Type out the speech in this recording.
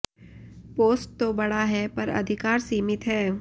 post तो बड़ा है पर अधिकार सीमित है